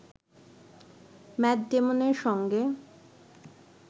mat ডেমনের সঙ্গে